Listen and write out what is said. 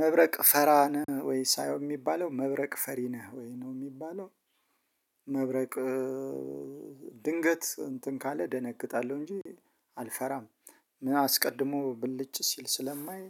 መብረቅ ፈራ ነህ ወይ ሳይሆን የሚባለው መብረቅ ፈሪ ነህ ወይ ነው የሚባለው? መብረቅ ድንገት እንትን ካለ እደነግጣለሁ እንጂ አልፈራም። አስቀድሞ ብልጭ ሲል ስለማይ